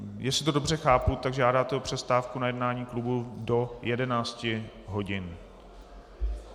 Jestli to dobře chápu, tak žádáte o přestávku na jednání klubu do 11 hodin.